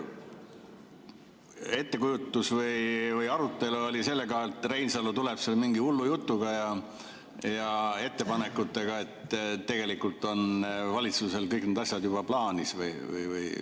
Kas oli selline ettekujutus või arutelu, et Reinsalu tuleb mingi hullu jutu ja ettepanekutega, aga tegelikult on valitsusel kõik need asjad juba plaanis?